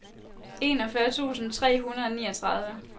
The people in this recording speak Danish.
enogfyrre tusind tre hundrede og niogtredive